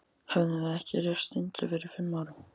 Höfðum við ekki reist sundlaug fyrir fimm árum?